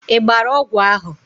Ị gbara ọgwụ ahụ?